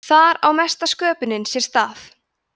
þar á mesta sköpunin sér stað